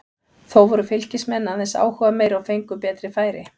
Þó voru Fylkismenn aðeins áhugameiri og fengu betri færi.